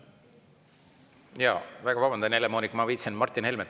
Ma väga vabandan, Helle-Moonika, et ma viipasin Martin Helmele.